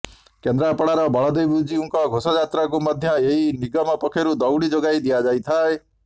କେନ୍ଦ୍ରାପଡ଼ାର ବଳଦେବଜୀଉଙ୍କ ଘୋଷଯାତ୍ରାକୁ ମଧ୍ୟ ଏହି ନିଗମ ପକ୍ଷରୁ ଦଉଡି ଯୋଗାଇ ଦିଆଯାଇଥାଏ